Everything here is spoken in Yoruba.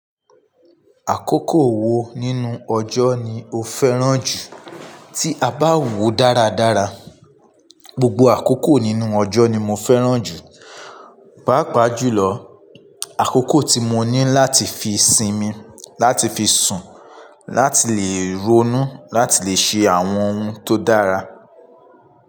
Àkókò wo nínú ọjọ́ ni o fẹ́ràn jù? Tí a bá wò dáradára, gbogbo àkókò nínú ọjọ́ ni mo fẹ́ràn jù. Páàpáà jùlọ, àkókò tí mo ní láti fi sinmi, láti fi sùn, láti lè ronú, láti lè ṣe àwọn ohun tó dára.